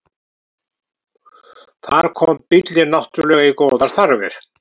Þar kom bíllinn náttúrlega í góðar þarfir.